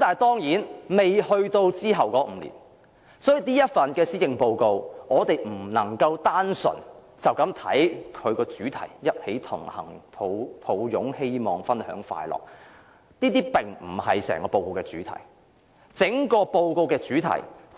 當然，現在仍未到達隨後的5年，所以我們不能單純地解讀這份施政報告的主題，即"一起同行擁抱希望分享快樂"，這並非整份報告的主題，